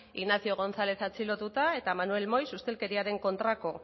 ignacio gonzalez atxilotuta eta manuel moix ustelkeriaren kontrako